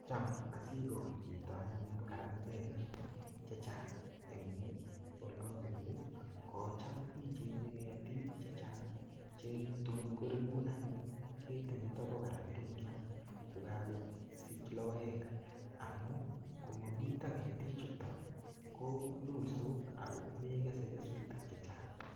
Cham asikol chito anyun karandelek che chang eng ole abunu ako cham ichenye ketik che chang che tun ko rikun anyun ketit nito bo karandiliat kokako sich lokoek amu komamito ketichuto ko lulsot ako mekese kesutik che chang.